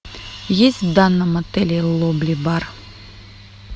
есть в данном отеле лобби бар